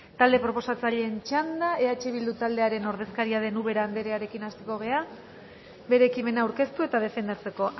talde proposatzaileen txanda eh bildu taldearen ordezkaria den ubera anderearekin hasiko gara bere ekimena aurkeztu eta defendatzeko